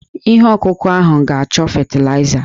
Ihe ọkụkụ ahụ ga-achọ fetịlaịza.